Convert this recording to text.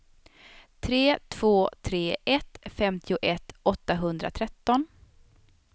tre två tre ett femtioett åttahundratretton